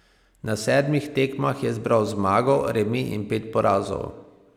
Na sedmih tekmah je zbral zmago, remi in pet porazov.